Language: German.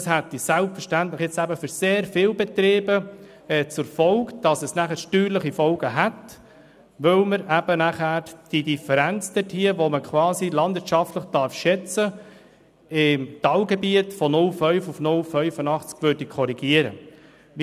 Das hätte selbstverständlich für sehr viele Betriebe steuerliche Folgen, weil man die Differenz, die quasi landwirtschaftlich geschätzt werden darf, im Talgebiet von 0,5 auf 0,85 SAK korrigieren würde.